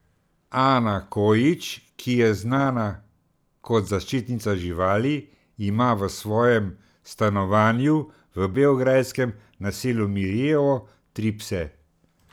Ana Kojić, ki je znana kot zaščitnica živali, ima v svojem stanovanju v beograjskem naselju Mirijevo tri pse.